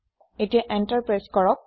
এতিয়া enter press কৰক